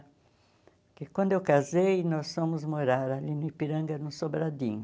Porque quando eu casei, nós fomos morar ali no Ipiranga, no Sobradinho.